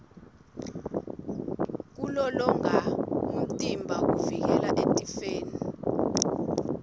kulolonga umtimba kuvikela etifeni